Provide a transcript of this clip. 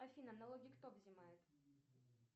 афина налоги кто взымает